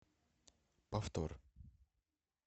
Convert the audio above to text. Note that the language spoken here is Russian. повтор